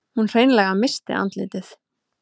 Hún hreinlega missti andlitið.